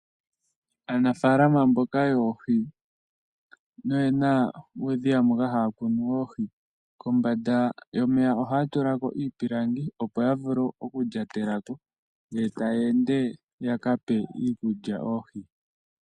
Aanafaalama mboka yoohi noyena uudhiya moka haya kunu oohi, kombanda yomeya ohaya tula ko iipilangi, opo ya vule oku lyatela ko, ngele taya ende yaka pe iikulya oohi.